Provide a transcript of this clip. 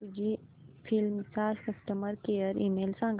Fujifilm चा customer care email सांगा